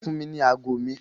Fún mi ní ago mi!